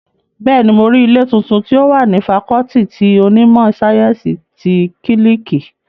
Bẹ́ẹ̀ni, mo rí ilé tuntun tí ó wà ní fakọọti ti onímọ̀ sáyẹ́ǹsì ti kílíìkì